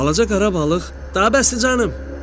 Balaca qara balıq, daha bəsdir canım, dedi.